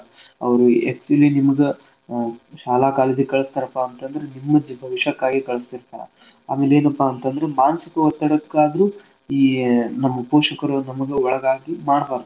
ಅವ್ರು actually ನಿಮಗ ಶಾಲಾ , college ಗ ಕಳಸ್ತಾರಪಾಂತಂದ್ರ ನಿಮ್ ಜೀ~ ಭವಿಷ್ಯಕ್ಕಾಗಿ ಕಳ್ಸಿರ್ತಾರ ಆಮೇಲ್ ಏನಪಾ ಅಂತಂದ್ರ ಮಾನಸಿಕ ಒತ್ತಡಕ್ಕಾದ್ರೂ ಈ ನಮ್ ಪೋಷಕರು ನಮಗ ಒಳಗಾಗಿ ಮಾಡ್ಬಾರ್ದು.